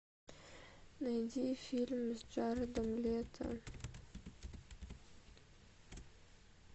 найди фильм с джаредом лето